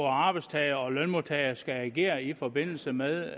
arbejdstagere og lønmodtagere skal agere i forbindelse med